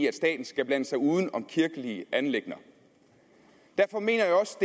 at staten skal blande sig uden om kirkelige anliggender derfor mener jeg også